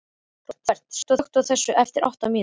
Róbert, slökktu á þessu eftir átta mínútur.